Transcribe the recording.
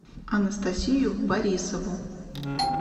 анастасию борисову